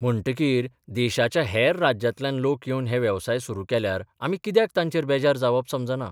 म्हणटकीर देशाच्या हेर राज्यांतल्यान लोक येवन हे वेवसाय सुरू केल्यार आमी कित्याक तांचेर बेजार जावप समजना.